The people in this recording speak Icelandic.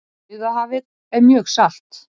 Dauðahafið er mjög salt!